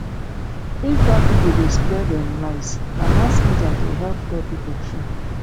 if bad people dey spread um lies na mass media dey help tell people true